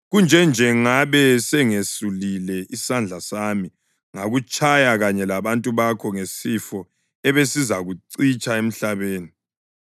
Kunje nje ngabe sengiselulile isandla sami ngakutshaya kanye labantu bakho ngesifo ebesizakucitsha emhlabeni.